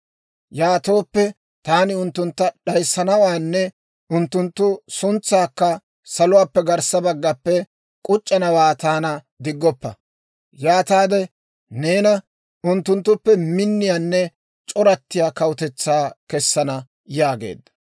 Yaatooppe, taani unttuntta d'ayissanawaanne unttunttu suntsaakka saluwaappe garssa baggappe k'uc'c'anawaa taana diggoppa. Yaataade neena unttunttuppe minniyaanne c'orattiyaa kawutetsaa kessana› yaageedda.